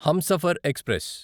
Humsafar express